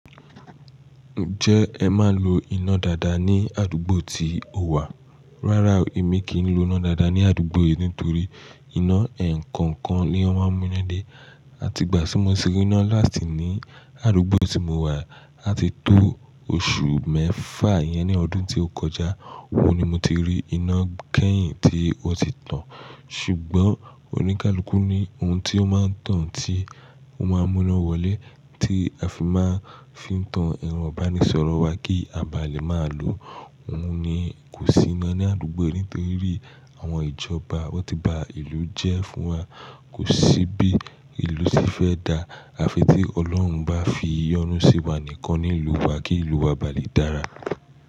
Ǹjẹ́ ẹ máa ń lo iná daadaa ní àdúgbò tí o wà? Rárá o, èmi kì n lo iná daadaa ní àdúgbò yìí nítorí iná ẹ̀nkookan ni wón máa ń mú iná dé. Àti ìgbà tí mo ti rí iná last ní àdúgbò tí mo wà, à ti tó oṣù mẹ́fà iyẹn ní ọdún tó kọjá, òhun ni mo ti rí iná kẹ́yìn tí ó ti tàn. Ṣùgbọ́n oníkálukú ní ohun tí ó máa ń tàn tí ó máa ń mú iná wọlé tí a fi máa ń fi tan ero ibanísọ̀rọ̀ wa kí a báà lè máa lo òhun ni kò sí ina àdúgbò yìí nítorí àwọn ìjọba wọ́n ti ba ìlú jẹ́ fún wa. Kò sí bí ìlú se fẹ́ dáa, à fi tí Ọlọ́run bá fi yọ́nú sí wa nìkan ní ìlú wa kí ìlú wa bá lè dára.